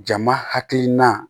Jama hakilina